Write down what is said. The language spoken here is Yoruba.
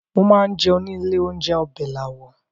Mo máa ń jẹun ní ilé-oúnjẹ Ọbẹ̀làwọ̀.